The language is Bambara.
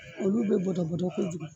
Olu be bɔtɔbɔtɔ kojugu